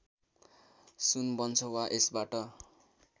सुन बन्छ वा यसबाट